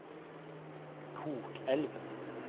Kokelv